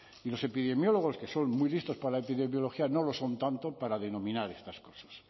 y los epidemiólogos que son muy listos para la epidemiología no lo son tanto para denominar estas cosas